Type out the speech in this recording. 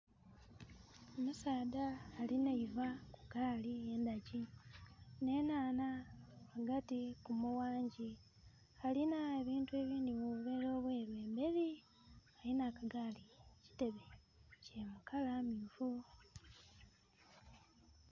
Omusaadha alina eivha kugaali, endhagi, n'enhanha nga dhili kumughangi. Alina ebintu ebindhi mu buveera obwelu embeli. Alina akagaali, ekitebe kya kala myufu.